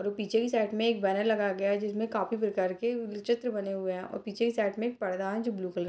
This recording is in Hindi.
और ऊ पीछे की साइड में एक बैनर लगा गया है जिसमे काफी प्रकार के चित्र बने है और पीछे के साथ में एक पर्दा है जो ब्लू कलर के --